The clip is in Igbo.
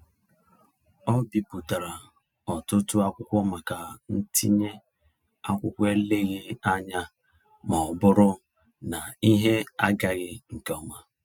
Ọ bipụtara ọtụtụ akwụkwọ maka ntinye akwụkwọ eleghị anya maọbụrụ na ihe agaghị nkeọma.